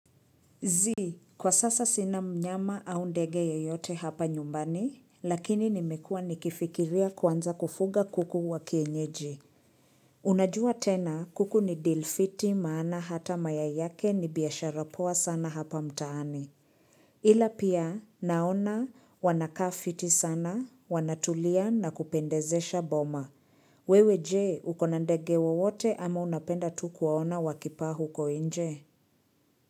Zii, kwa sasa sina mnyama au ndege yeyote hapa nyumbani, lakini nimekua nikifikiria kuanza kufuga kuku wa kienyeji. Unajua tena, kuku ni deal fiti maana hata mayai yake ni biashara poa sana hapa mtaani. Ila pia, naona, wanakaa fiti sana, wanatulia na kupendezesha boma. Wewe je, uko na ndege wowote ama unapenda tu kuwaona wakipaa huko nje?